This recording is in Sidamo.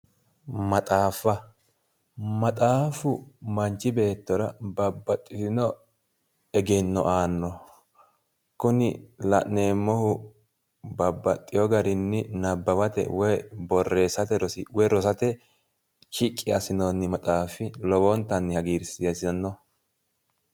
Maxaafa, maxaafu manchi beettira babbaxitino egenno aanno. kuni la'neemmohu babbaxxeewo garinni nabbawate woy borreessate rosi woy rosate shiqqi assinoonni maxaafi lowontanni hagiirsiissanno